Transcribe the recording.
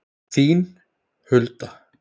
Þín, Hulda.